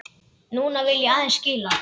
Núna vil ég aðeins skilja.